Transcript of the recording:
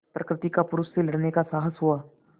प्रकृति का पुरुष से लड़ने का साहस हुआ